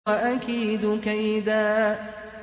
وَأَكِيدُ كَيْدًا